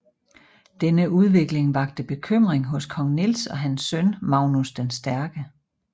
Denne udvikling vakte bekymring hos kong Niels og hans søn Magnus den Stærke